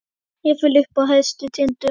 Jafnvel uppi á hæstu tindum.